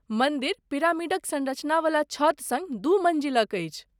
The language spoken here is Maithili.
मन्दिर पिरामिडक सँरचनावला छत सङ्ग दू मन्जिलक अछि।